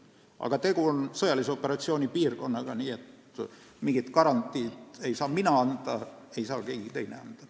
Aga tegu on sõjalise operatsiooni piirkonnaga, nii et mingit garantiid ei saa anda mina ega keegi teine.